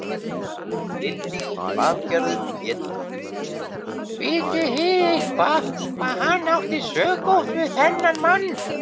Lillý Valgerður Pétursdóttir: Vitið þið eitthvað hvað hann átti sökótt við þennan mann?